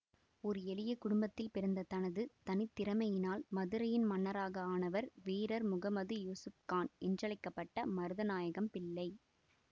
ஒரு எளிய குடும்பத்தில் பிறந்து தனது தனித்திறமையினால் மதுரையின் மன்னராக ஆனவர் வீரர் முகமது யூசுப் கான் என்றழைக்க பட்ட மருதநாயகம் பிள்ளை